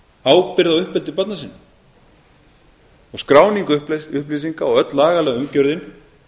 ábyrgð á uppeldi barna sinna og skráning upplýsinga og öll lagalega umgjörðin